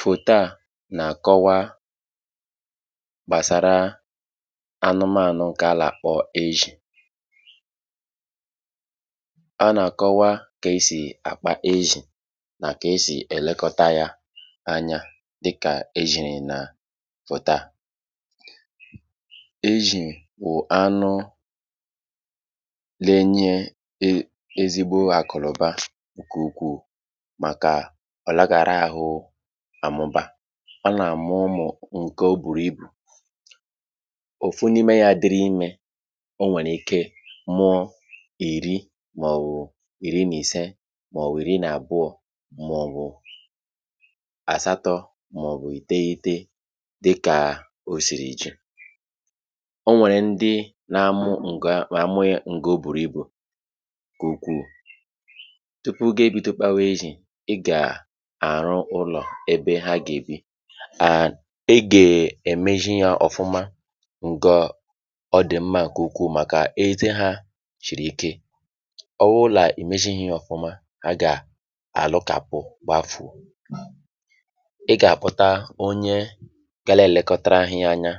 Foto a na-akọwa gbasara anụmanụ nke a na-akpọ éshí. A na-akọwa ka esi akpa éshí na ka esi elekọtara ya anya dị ka éshí na foto a. Éshí bụ anụ na-enye ezigbo akụ na ụba nke ukwuu maka alaghị ahụ amụba a na-amụnụ. Nke ọ bụrụ ibu otu na ime ya, dịrị ime, o nwere ike mụọ iri ma ọ bụ iri na ise ma ọ bụ iri na abụọ ma ọ bụ asatọ ma ọ bụ iteghete dị ka o siri chiri. Ọnwere ndị na-amụ nke ọ bụrụ ibu nke ukwu tupu ga-ebute kwa éshí ịga arụ ụlọ ebe ha ga-ebi. Ị ga-emezi ya ofụma nke ọ dị mma nke ukwu maka ite a siri ike; ọ bụla imesịrị ya ofụma ha ga-arụka ya gbaa fụo. Ị ga-akọta onye ga na-elekọta gị ya anya,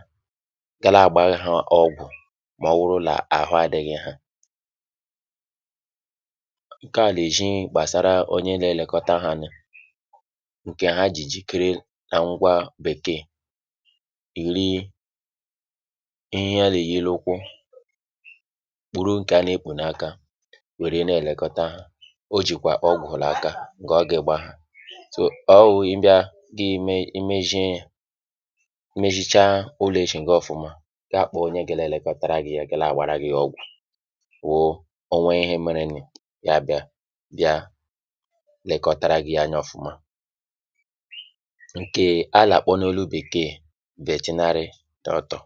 ga na-agbara gị ya ọgwụ ma ọ bụrụ na ahụ adịghị ya. Nke a na-éshí gbasara onye na-elekọta ha anya, nke ha ji kele Bekee iri ihe a na-enye na ukwu kpụrụ nke a na-ekpù na aka, nwere na-elekọta ha. Ọ jikwa ọgwụ na aka, ga o ga-agba ha ọnwụ. Ị bia gị eme emume ime shí, imeshịcha ụlọ éshí ga-ofụma. Gaa akpọ onye ga na-elekọta gị ya, ga na-agbara gị ya ọgwụ. Ụfọdụ ihe mere ya, ya abịa bia lekọtara gị ya anya ofụma. Nke ala akpọ na olu Bekee veterinary doctor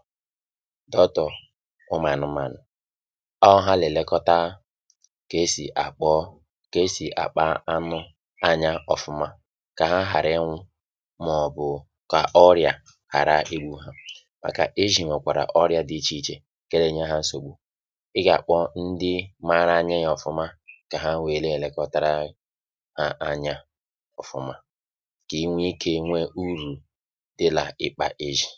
bụ ụmụ anụmanụ. Ọ ha na-elekọta ka esi akpọ ka esi akpa anụ anya ofụma ka ha ghara ịnwụ ma ọ bụ ka ọrịa ghara igbu ha, maka éshí nwekwara ọrụ ya dị iche iche ka na-enye ha nsụgbu. Ị ga-akpọ ndị maara anya ha ofụma ka ha nwere na-elekọta ya anya ofụma ka i nwee ike nwee uru dị na ịkpụ éshí.